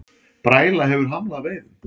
Bræla hefur hamlað veiðum